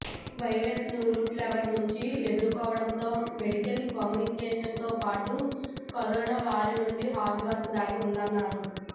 virus ను root level నుంచి ఎదుర్కోవడంలో మెడికల్ కమ్యూనిటీతోపాటు కరోనా వారియర్స్ హార్డ్ వర్క్ దాగి ఉందన్నారు